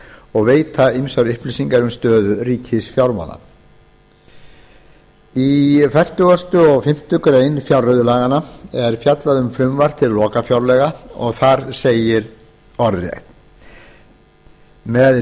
og veita ýmsar upplýsingar um stöðu ríkisfjármála í fertugustu og fimmtu grein fjárreiðulaganna er fjallað um frumvarp til lokafjárlaga og segir þar orðrétt með